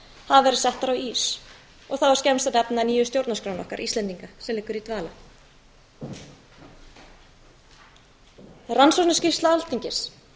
hafa verið settar á ís og þá er skemmst að nefna nýju stjórnarskrána okkar íslendinga sem liggur í dvala skýrsla rannsóknarnefndar alþingis